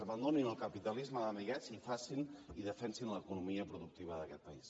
abandonin el capitalisme d’amiguets i defensin l’economia productiva d’aquest país